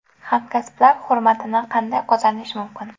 Hamkasblar hurmatini qanday qozonish mumkin?.